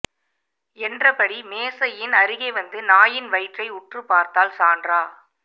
என்றபடி மேசையின் அருகே வந்து நாயின் வயிற்றை உற்றுப் பார்த்தாள் சாண்டரா